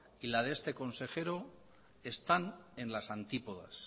y la de este consejero están en las antípodas